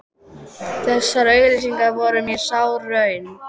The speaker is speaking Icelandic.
Þessar auglýsingar voru mér sár raun.